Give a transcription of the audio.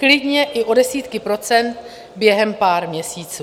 Klidně i o desítky procent během pár měsíců.